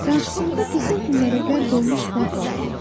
Qarşısında qızıl güllərə qərq olmuş bağ var idi.